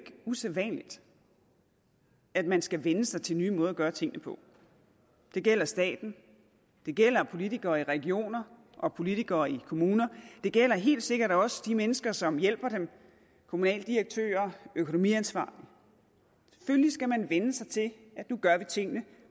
usædvanligt at man skal vænne sig til nye måder at gøre tingene på det gælder staten det gælder politikere i regioner og politikere i kommuner det gælder helt sikkert også de mennesker som hjælper dem kommunaldirektører økonomiansvarlige selvfølgelig skal man vænne sig til at nu gør vi tingene